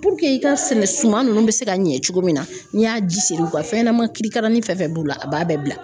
Puruke i ka sɛnɛ suman ninnu bɛ se ka ɲɛ cogo min na n'i y'a ji seri u ka fɛn ɲɛnama kirikarani fɛn fɛn b'u la a b'a bɛɛ bila